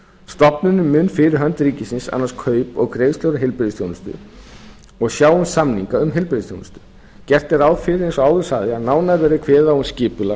stofnunin mun fyrir hönd ríkisins annast kaup og greiðslur á heilbrigðisþjónustu gert er ráð fyrir eins og áður sagði að nánar verði kveðið á um skipulag